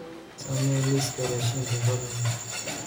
samee liiska raashinka fadlan